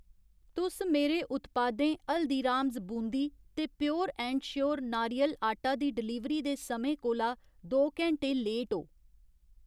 तुस मेरे उत्पादें हल्दीरास बूंदी ते प्योर ऐंड श्योर नारियल आटा दी डलीवरी दे समें कोला दो घैंटें लेट ओ।